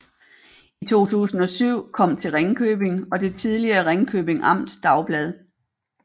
I 2007 kom til Ringkøbing og det tidligere Ringkjøbing Amts Dagblad